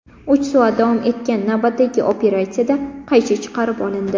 Uch soat davom etgan navbatdagi operatsiyada qaychi chiqarib olindi.